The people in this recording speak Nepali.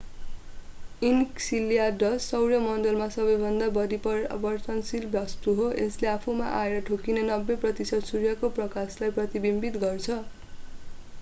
enceladus सौर्यमण्डलमा सबैभन्दा बढी परावर्तनशील वस्तु हो यसले आफूमा आएर ठोक्किने 90 प्रतिशत सूर्यको प्रकाशलाई प्रतिबिम्बित गर्छ